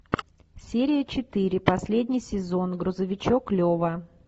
серия четыре последний сезон грузовичок лева